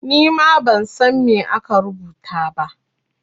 Ni ma ban san me aka rubuta ba.